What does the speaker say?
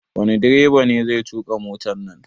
Wani direba ne zai tuƙa motan nan?